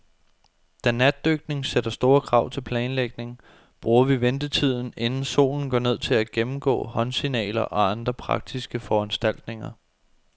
Da natdykning sætter store krav til planlægning, bruger vi ventetiden, inden solen går ned, til at gennemgå håndsignaler og andre praktiske foranstaltninger.